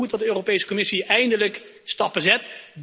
Het is dan ook goed dat de Europese Commissie eindelijk stappen zet.